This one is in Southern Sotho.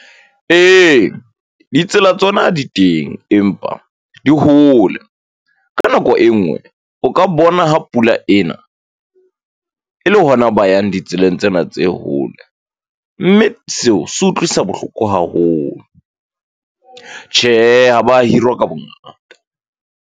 E, ditsela tsona di teng, empa di hole. Ka nako e nngwe, o ka bona ha pula ena, e le hona ba yang ditseleng tsena tse hole. Mme seo se utlwisa bohloko haholo. Tjhe, ha ba hirwa ka bongata.